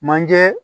Manje